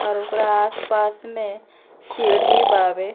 और ओकरा आस पास में सीढ़ी बावे।